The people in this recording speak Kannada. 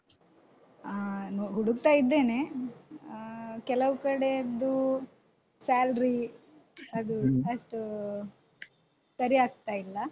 ಆ ನೋ ಹುಡುಕ್ತಾ ಇದ್ದೇನೆ ಅಹ್ ಕೆಲವು ಕಡೆಯದ್ದು salary ಅದು ಅಷ್ಟು ಸರಿಯಾಗ್ತಾ ಇಲ್ಲ.